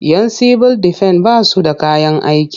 Yan sibil defen ba su da kayan aiki.